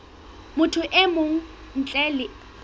motho e mong ntle le